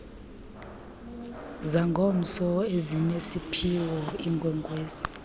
zangomso ezinesiphiwo iinkwenkwezi